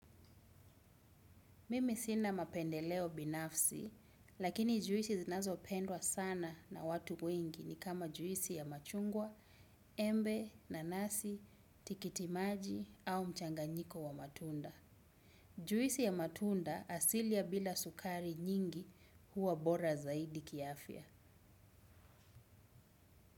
Mimi sina mapendeleo binafsi, lakini juisi zinazopendwa sana na watu wengi ni kama juisi ya machungwa, embe, nanasi, tikiti maji au mchanganyiko wa matunda. Juisi ya matunda asili ya bila sukari nyingi huwa bora zaidi kiafya.